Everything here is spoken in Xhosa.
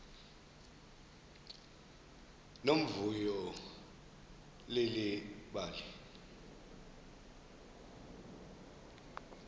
nomvuyo leli bali